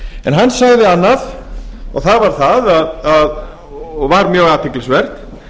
en hann sagði annað og það var mjög athyglisvert